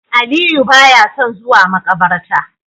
Aliyu baya son zuwa makabarta